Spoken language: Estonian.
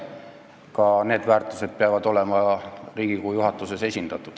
Ka need väärtused peavad olema Riigikogu juhatuses esindatud.